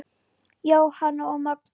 Jóhanna og Magnús.